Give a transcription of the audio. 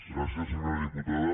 gràcies senyora diputada